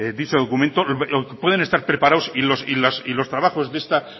dicho documento o puedan estar preparados y los trabajos de esta